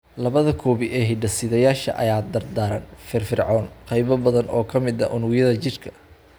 Labada koobi ee hidde-sidayaashan ayaa daaran (firfircoon) qaybo badan oo ka mid ah unugyada jidhka.